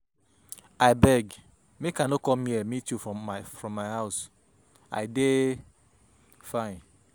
I beg make I no come here meet you from my house. I dey fine.